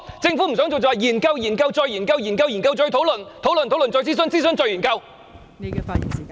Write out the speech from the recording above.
政府不想做便會說研究、研究、再研究，研究、研究、再討論，討論、討論、再諮詢，諮詢後再研究......